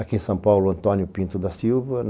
Aqui em São Paulo, Antônio Pinto da Silva.